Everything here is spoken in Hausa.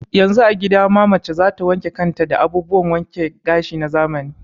Yanzu a gida ma mace za ta wanke kan ta da abubuwan wanke gashi na zamani.